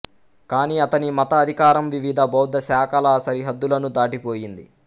కానీ అతని మత అధికారం వివిధ బౌద్ధ శాఖల సరిహద్దులను దాటిపోయింది